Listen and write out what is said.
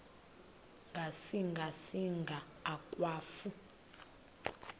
ngasinga singa akwafu